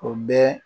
O bɛ